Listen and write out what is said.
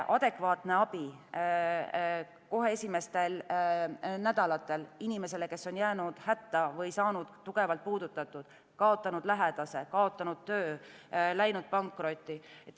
Adekvaatne abi kohe esimestel nädalatel inimesele, kes on jäänud hätta või saanud tugevalt puudutatud, kaotanud lähedase, töö, läinud pankrotti.